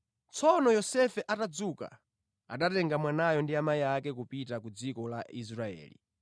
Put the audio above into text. Tsono Yosefe atadzuka anatenga mwanayo ndi amayi ake kupita ku dziko la Israeli.